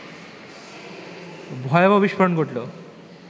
ভয়াবহ বিস্ফোরণ ঘটল